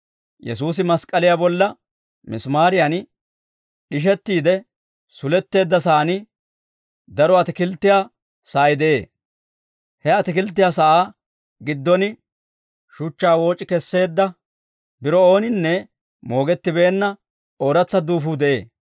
Yesuusi mask'k'aliyaa bolla misimaariyan d'ishettiide suletteedda sa'aan daro atikilttiyaa sa'ay de'ee; he atikilttiyaa sa'aa giddon shuchchaa wooc'i kesseedda biro ooninne moogettibeenna ooratsa duufuu de'ee.